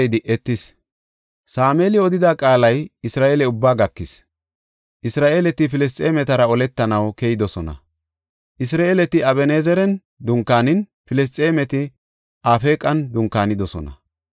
Sameeli odida qaalay Isra7eele ubbaa gakis. Isra7eeleti Filisxeematara oletanaw keyidosona; Isra7eeleti Aben7ezeran dunkaanin, Filisxeemeti Afeeqan dunkaanidosona.